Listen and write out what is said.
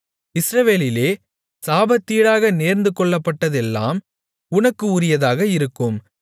இஸ்ரவேலிலே சாபத்தீடாக நேர்ந்துகொள்ளப்பட்டதெல்லாம் உனக்கு உரியதாக இருக்கும்